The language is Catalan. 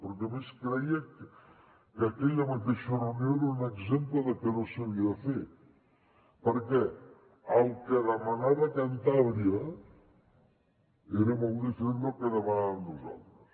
perquè a més creia que aquella mateixa reunió era un exemple del que no s’havia de fer perquè el que demanava cantàbria era molt diferent del que demanàvem nosaltres